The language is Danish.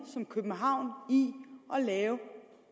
som københavn i at lave